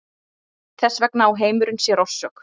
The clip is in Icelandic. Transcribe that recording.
Þess vegna á heimurinn sér orsök.